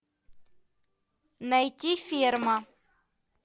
найти ферма